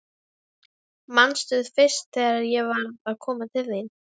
Manstu fyrst þegar ég var að koma til þín?